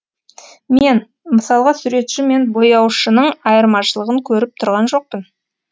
мен мысалға суретші мен бояушының айырмашылығын көріп тұрған жоқпын